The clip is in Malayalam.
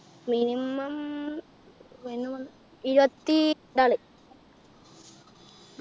minimum ഇരുപത്തി നാല്